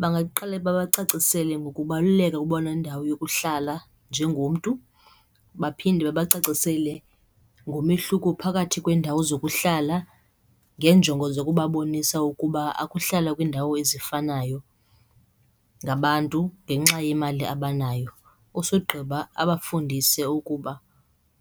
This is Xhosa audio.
Bangaqala babacacisele ngokubaluleka ukuba nendawo yokuhlala njengomntu, baphinde babacacisele ngomehluko phakathi kweendawo zokuhlala ngeenjongo zokubabonisa ukuba akuhlalwa kwiindawo ezifanayo ngabantu ngenxa yemali abanayo. Usogqiba abafundise ukuba